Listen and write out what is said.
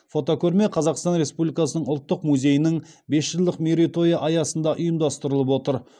фотокөрме қазақстан республикасының ұлттық музейінің бес жылдық мерейтойы аясында ұйымдастырылып отыр